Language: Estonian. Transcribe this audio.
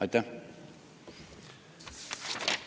Aitäh!